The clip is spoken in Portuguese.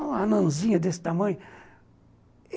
Uma anãzinha desse tamanho.